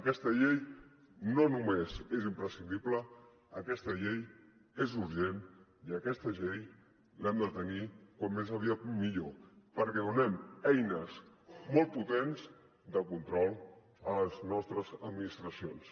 aquesta llei no només és imprescindible aquesta llei és urgent i aquesta llei l’hem de tenir com més aviat millor perquè donem eines molt potents del control a les nostres administracions